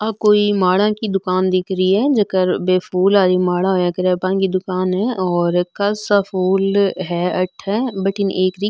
आ कोई माला की दुकान दिख री है जिको बे फूल वाली माला होया कर बा की दुकान है फूल है अठे भटीन --